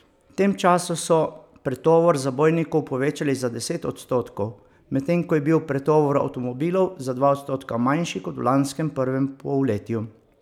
V tem času so pretovor zabojnikov povečali za devet odstotkov, medtem ko je bil pretovor avtomobilov za dva odstotka manjši kot v lanskem prvem polletju.